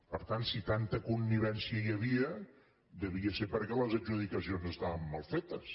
per tant si tanta con·nivència hi havia devia ser perquè les adjudicacions estaven mal fetes